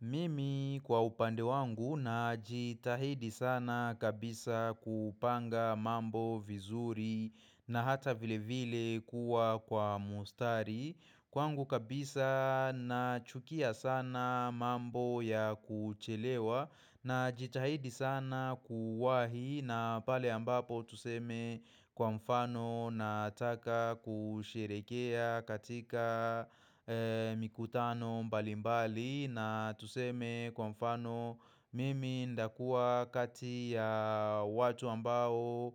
Mimi kwa upande wangu najitahidi sana kabisa kupanga mambo vizuri na hata vilevile kuwa kwa mstari. Kwangu kabisa nachukia sana mambo ya kuchelewa najitahidi sana kuwahi na pale ambapo tuseme kwa mfano Nataka kusherehekea katika mikutano mbalimbali na tuseme kwa mfano mimi nitakuwa kati ya watu ambao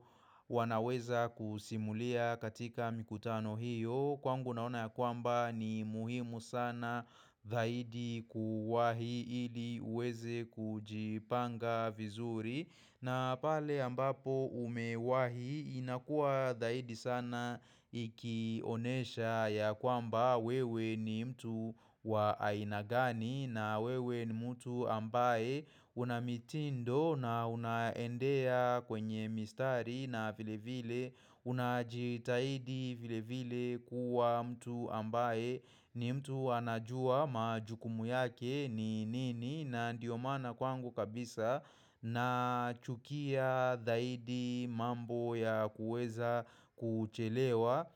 wanaweza kusimulia katika mikutano hiyo, Kwangu naona ya kwamba ni muhimu sana zaidi kuwahi ili uweze kujipanga vizuri. Na pale ambapo umewahi inakuwa dhaidi sana ikionyesha ya kwamba wewe ni mtu wa aina gani na wewe ni mtu ambaye una mitindo na unaendea kwenye mistari na vilevile unajitaidi vilevile kuwa mtu ambaye ni mtu anajua majukumu yake ni nini, na ndio maana kwangu kabisa nachukia dhaidi mambo ya kuweza kuchelewa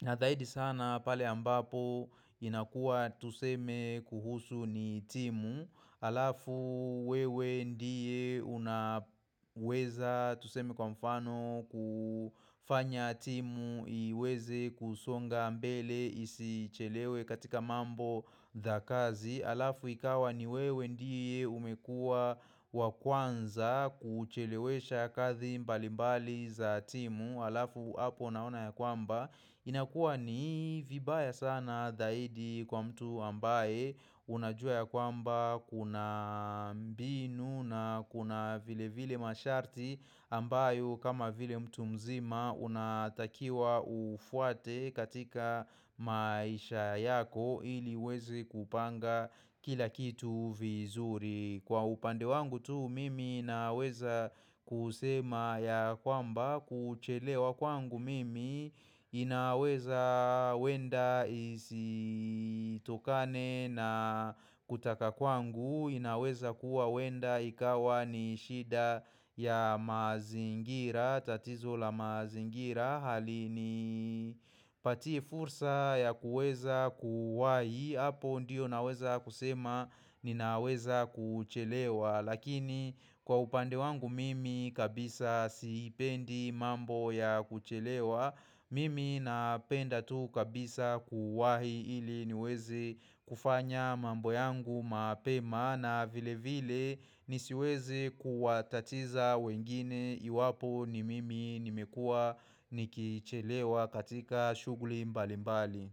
na dhaidi sana pale ambapo inakuwa tuseme kuhusu ni timu Alafu wewe ndiye unaweza tuseme kwa mfano kufanya timu iweze kusonga mbele isichelewe katika mambo za kazi halafu ikawa ni wewe ndiye umekuwa wa kwanza kuchelewesha kazi mbalimbali za timu halafu hapo unaona ya kwamba inakuwa ni vibaya sana zaidi kwa mtu ambaye unajua ya kwamba kuna mbinu na kuna vilevile masharti ambayo kama vile mtu mzima unatakiwa ufuate katika maisha yako ili uweze kupanga kila kitu vizuri. Kwa upande wangu tu mimi naweza kusema ya kwamba kuchelewa kwangu mimi inaweza huenda isitokane na kutaka kwangu, inaweza kuwa huenda ikawa ni shida ya mazingira, tatizo la mazingira halini patii fursa ya kuweza kuwahi. Hapo ndio naweza kusema ninaweza kuchelewa. Lakini kwa upande wangu mimi kabisa siipendi mambo ya kuchelewa Mimi napenda tu kabisa kuwahi ili niweze kufanya mambo yangu mapema, na vilevile nisiweze kuwatatiza wengine iwapo ni mimi nimekuwa nikichelewa katika shughuli mbalimbali.